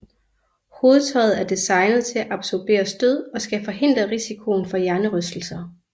Hovedtøjet er designet til at absorbere stød og skal forhindre risikoen for hjernerystelser